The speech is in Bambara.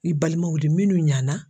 I balimaw de minnu ɲana.